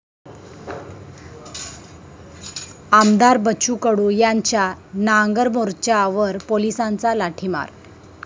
आमदार बच्चू कडू यांच्या 'नांगर मोर्चा'वर पोलिसांचा लाठीमार